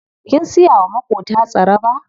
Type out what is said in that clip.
Kin siya wa maƙota tsaraba?